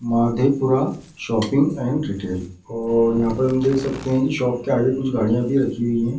Madhepura shopping and detail और यहाँ पर हम देख सकते है कि शॉप के आगे कुछ गाड़ियाँ भी रखी हुई है ।